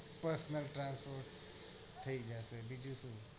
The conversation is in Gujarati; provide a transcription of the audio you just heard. personal transfer થઇ જશે બીજું શું?